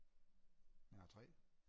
jeg har tre